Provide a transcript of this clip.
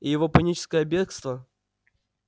и его паническое бегство